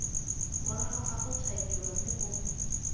morago ga gotshwaediwa mme o